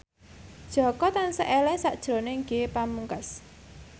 Jaka tansah eling sakjroning Ge Pamungkas